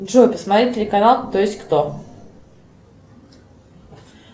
джой посмотреть телеканал кто есть кто